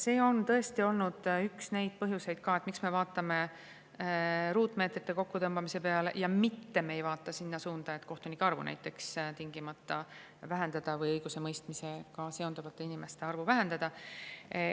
See on tõesti olnud üks neid põhjuseid, miks me vaatame ruutmeetrite kokkutõmbamise peale, mitte ei vaata sinna suunda, et kohtunike arvu tingimata vähendada või üldse õigusemõistmisega seonduvate inimeste arvu vähendada.